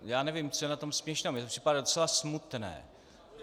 Já nevím, co je na tom směšného, mně to připadá docela smutné.